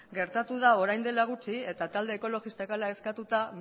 gertatu da orain dela gutxi eta talde ekologistak hala eskatuta